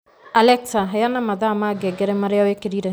Alexa, heana mathaa ma ngengere maria wikirire